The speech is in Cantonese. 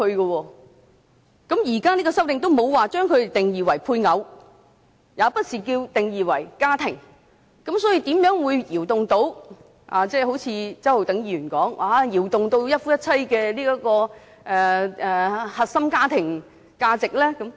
況且現在這項修正案也沒有把這些人定義為"配偶"或"家庭"，試問又怎會動搖到——就好像周浩鼎議員所說般——一夫一妻的核心家庭價值？